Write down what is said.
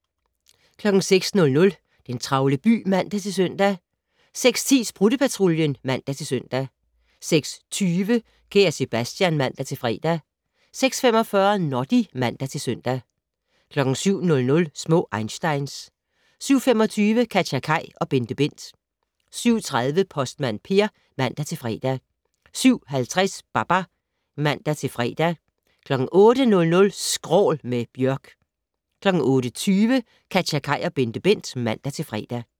06:00: Den travle by (man-søn) 06:10: Sprutte-Patruljen (man-søn) 06:20: Kære Sebastian (man-fre) 06:45: Noddy (man-søn) 07:00: Små einsteins 07:25: KatjaKaj og BenteBent 07:30: Postmand Per (man-fre) 07:50: Babar (man-fre) 08:00: Skrål - med Bjørk 08:20: KatjaKaj og BenteBent (man-fre)